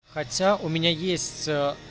хотя у меня есть